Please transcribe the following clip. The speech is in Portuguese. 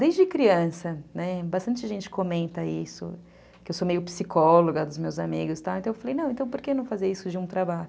Desde criança, né, bastante gente comenta isso, que eu sou meio psicóloga dos meus amigos, então eu falei, não, então por que não fazer isso de um trabalho?